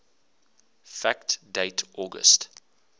fact date august